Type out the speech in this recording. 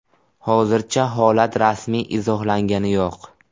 Hozircha holat rasmiy izohlangani yo‘q.